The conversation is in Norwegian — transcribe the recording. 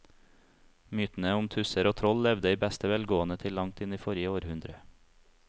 Mytene om tusser og troll levde i beste velgående til langt inn i forrige århundre.